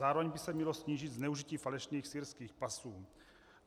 Zároveň by se mělo snížit zneužití falešných syrských pasů.